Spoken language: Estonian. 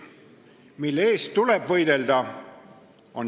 Mille eest tuleb võidelda?